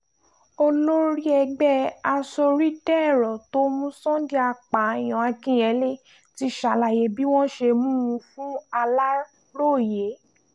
olórí ẹgbẹ́ asorídèrò tó mú sunday apààyàn akinyele ti ṣàlàyé bí wọ́n ṣe mú un fún aláròye